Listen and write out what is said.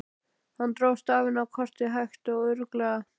Hann dró stafina á kortið hægt og örugglega.